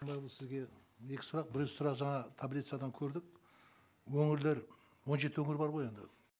мынау міне сізге екі сұрақ бірінші сұрақ жаңағы таблицадан көрдік өңірлер он жеті өңір бар ғой енді